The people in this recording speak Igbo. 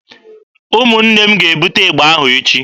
Ụmụnne m ga-ebute ịgba ahụ echi.